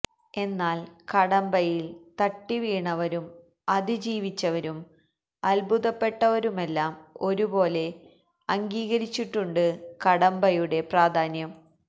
എന്നാല് കടമ്പയില് തട്ടിവീണവരും അതിജീവിച്ചവരും അത്ഭുതപ്പെട്ടവരുമെല്ലാം ഒരുപോലെ അംഗീകരിച്ചിട്ടുണ്ട് കടമ്പയുടെ പ്രാധാന്യം